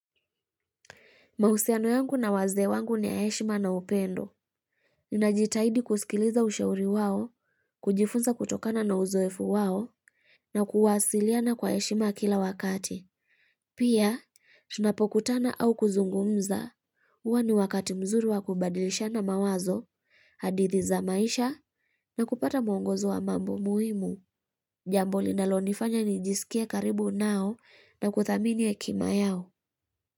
Mahusiano yangu na wazee wangu ni ya heshima na upendo. Ninajitahidi kusikiliza ushauri wao, kujifunza kutokana na uzoefu wao, na kuwasiliana kwa heshima kila wakati. Pia, shunapokutana au kuzungumza, huwa ni wakati mzuri wa kubadilishana mawazo, hadithi za maisha, na kupata mwongozo wa mambo muhimu. Jambo linalonifanya nijisikie karibu nao na kuthamini hekima yao.